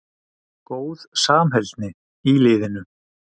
Góð samheldni í liðinu.